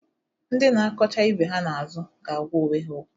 Ndị na-akọcha ibe ha na-azụ ga-agwa onwe ha okwu.